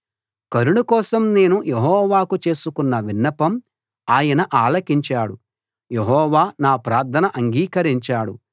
కరుణ కోసం నేను యెహోవాకు చేసుకున్న విన్నపం ఆయన ఆలకించాడు యెహోవా నా ప్రార్థన అంగీకరించాడు